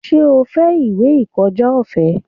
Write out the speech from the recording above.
Ṣé o fẹ́ ìwé ìkọjá ọ̀fẹ́?